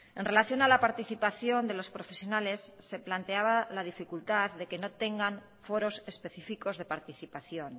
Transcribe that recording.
en relación a la participación de los profesionales se planteaba la dificultad de que no tengan foros específicos de participación